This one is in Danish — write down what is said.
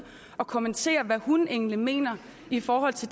at kommentere hvad hun egentlig mener i forhold til